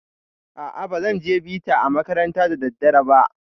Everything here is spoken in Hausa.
A'a, bazan je bita a makaranta da daddare ba.